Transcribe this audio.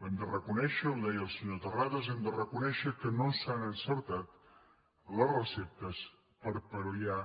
ho hem de reconèixer ho deia el senyor ter·rades hem de reconèixer que no s’han encertat les re·ceptes per pal·liar